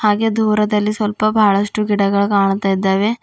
ಹಾಗೆ ದೂರದಲ್ಲಿ ಸ್ವಲ್ಪ ಬಹಳಷ್ಟು ಗಿಡಗಳು ಕಾಣುತ್ತಿದ್ದಾವೆ.